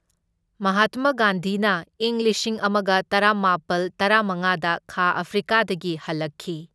ꯃꯍꯥꯠꯃ ꯒꯥꯟꯙꯤꯅ ꯢꯪ ꯂꯤꯁꯤꯡ ꯑꯃꯒ ꯇꯔꯥꯃꯥꯄꯜ ꯇꯔꯥꯃꯉꯥꯗ ꯈꯥ ꯑꯐ꯭ꯔꯤꯀꯥꯗꯒꯤ ꯍꯜꯂꯛꯈꯤ꯫